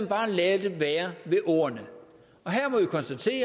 bare vil lade det være ved ordene her må vi konstatere